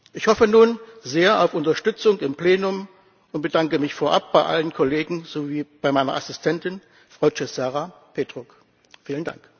Ich hoffe nun sehr auf Unterstützung im Plenum und bedanke mich vorab bei allen Kollegen sowie bei meiner Assistentin, Frau Cezara Petruc. Vielen Dank!